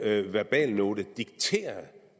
verbalnote dikteret